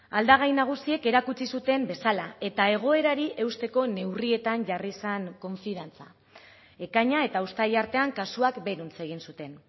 aldagai nagusiek erakutsi zuten bezala eta egoerari eusteko neurrietan jarri zen konfiantza ekaina eta uztaila artean kasuak beheruntz egin zuten